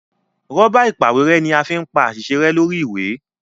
Rọ́bà ìpàwérẹ́ ní a fín pá àsìṣe rẹ lórí ìwé.